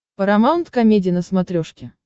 парамаунт комеди на смотрешке